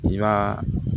I b'a